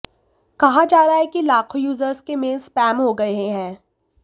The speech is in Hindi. कहा जा रहा है कि लाखों यूजर्स के मेल स्पैम हो गए हैं